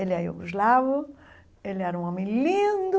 Ele é iogoslavo, ele era um homem lindo,